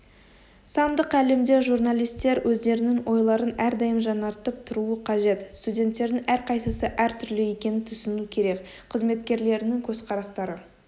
сандық әлемде журналистер өздерінің ойларын әрдайым жаңартып тұруы қажет студенттердің әрқайсысы әртүрлі екенін түсіну керек қызметкерлерінің көзқарастары